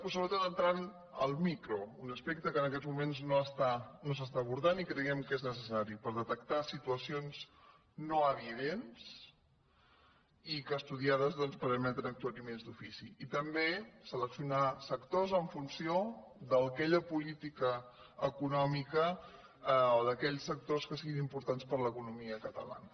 però sobretot entrant al micro un aspecte que en aquests moments no s’està abordant i creiem que és necessari per detectar situacions no evidents i que estudiades doncs permeten actuacions d’ofici i també seleccionar sectors en funció d’aquella política econòmica o d’aquells sectors que si·guin importants per a l’economia catalana